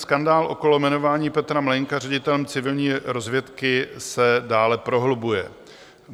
Skandál okolo jmenování Petra Mlejnka ředitelem civilní rozvědky se dále prohlubuje.